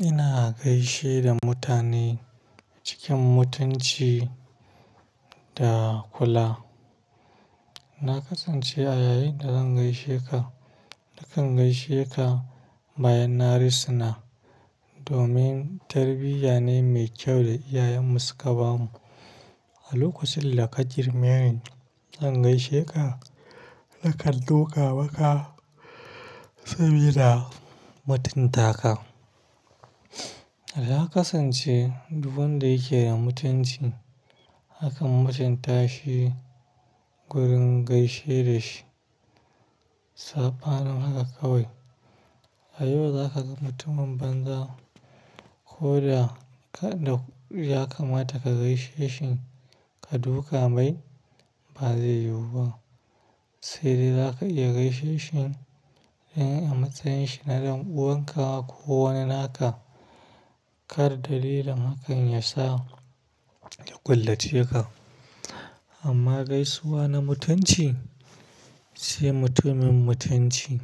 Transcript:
Ina gaishe da mutane cikin mutunci da kula. Na kasance a yayin da zan gaishe ka, nakan gaishe ka bayan na risuna domin tarbiyya ne mai kyau da iyayenmu suka bamu. A lokacin da ka girme ni zan gaishe ka, nakan duƙa maka sabida mutunta ka. Na kasance duk wanda yake da mutunci, nakan mutunta shi gurin gaishe da shi. Safa nan haka kawai, a yau za ka ga mutumin banza ko da ya kamata ka gaishe shi. Ka duƙa mai, ba zai yiwu ba. Sai dai zaka iya gaishe shi in a matsayin shi na ɗan uwanka ko wani naka. Kar dalilin hakan ya sa ya ƙullace ka. Amma gaisuwa na mutunci sai mutumin mutunci.